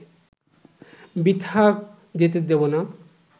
বৃথা যেতে দেব না